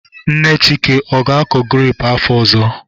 Nne Chika, ọ ga-akọ grepụ afọ ọzọ?